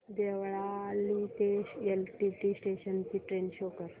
देवळाली ते LTT station ची train show कर